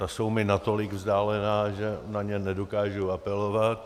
Ta jsou mi natolik vzdálená, že na ně nedokážu apelovat.